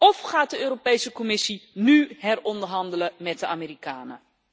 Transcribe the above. Of gaat de Europese Commissie nu heronderhandelen met de Amerikanen?